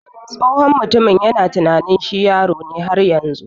Tsohon mutumin yana tunanin shi yaro ne har yanzu.